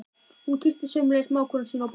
Hún kyssti sömuleiðis mágkonu sína og börnin.